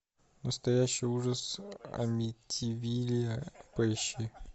настоящий ужас амитивилля поищи